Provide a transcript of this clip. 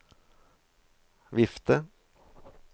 vifte